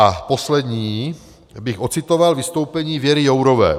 A poslední bych ocitoval vystoupení Věry Jourové.